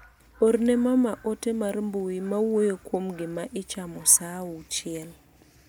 orne mama ote mar mbui mawuoyo kuom gima ichamo saa auchiel.